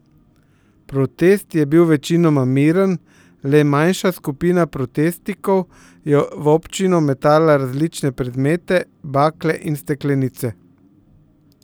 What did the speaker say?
Protest je bil večinoma miren, le manjša skupina protestnikov je v občino metala različne predmete, bakle in steklenice.